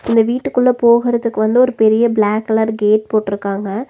இந்த வீட்டுக்குள்ள போகறதுக்கு வந்து ஒரு பெரிய பிளாக் கலர் கேட் போட்ருக்காங்க.